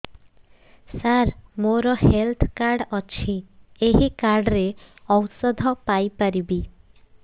ସାର ମୋର health card ଅଛି ଏହି କାର୍ଡ ରେ ଔଷଧ ପାଇପାରିବି